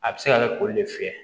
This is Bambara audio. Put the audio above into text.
A bɛ se ka kɛ kuru de fiyɛ